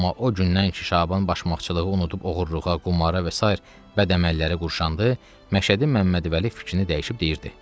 Amma o gündən ki, Şaban başmaqçılığı unudub oğurluğa, qumara və sair bəd əməllərə qurşandı, Məşədi Məmmədvəli fikrini dəyişib deyirdi: